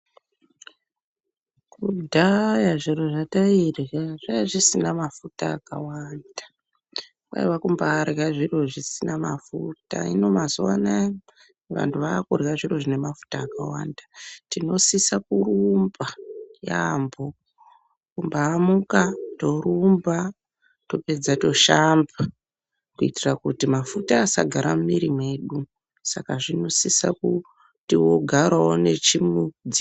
Kudhaya zviro zvatairya zvaiya zvisina mafuta akawanda kwaiyakumbarya zviro zvisina mafuta hino mazuwa anaya vanhu vakurya zviro zvine mafuta akawanda tinosisa kurumba yamho ,kumbaamuka torumba tapedza toshamba kuitira kuti mafuta asagara mumiri mwedu saka zvinosisa kuti wogarawo weindodaroko.